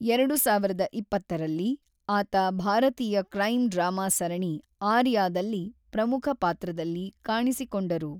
ಎರಡು ಸಾವಿರದ ಇಪ್ಪತ್ತರಲ್ಲಿ, ಆತ ಭಾರತೀಯ ಕ್ರೈಮ್‌ ಡ್ರಾಮಾ ಸರಣಿ 'ಆರ್ಯಾ'ದಲ್ಲಿ ಪ್ರಮುಖ ಪಾತ್ರದಲ್ಲಿ ಕಾಣಿಸಿಕೊಂಡರು.